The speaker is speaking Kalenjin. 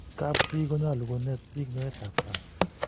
kap chii konyalu konet bik nyoet ab kat